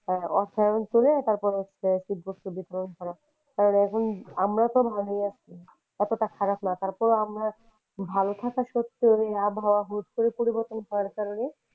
অঞ্চলে তারপরে হচ্ছে শীতবস্ত্র বিতরণ করা কারণ এখন আমরা তো ভালোই আছি এতটা খারাপ না তার পরেও আমরা ভালো থাকার সত্ত্বে ও ঐ আবহাওয়া হুট করে পরিবর্তন হওয়ার কারণে,